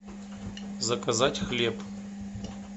заказать хлеб